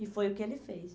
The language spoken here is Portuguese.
E foi o que ele fez.